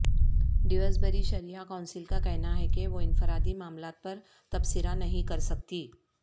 Dewsbury Sharia Council کا کہنا ہے کہ وہ انفرادی معاملات پر تبصرہ نہیں کر سکتی